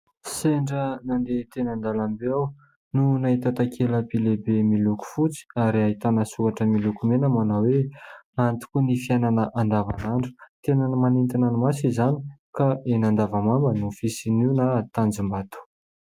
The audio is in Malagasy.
Sendra nandeha teny an-dalambe aho no nahita takela-by lehibe miloko fotsy, ary ahitana soratra miloko mena manao hoe : antoky ny fiainana andavanandro. Tena manintona ny maso izany ka eny Andavamamba no fisian' io na eny Tanjombato.